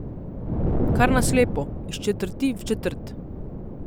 Kar na slepo, iz četrti v četrt.